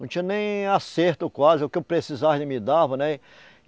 Não tinha nem acerto quase, o que eu precisasse ele me dava, né?